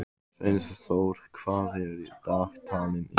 Sveinþór, hvað er á dagatalinu í dag?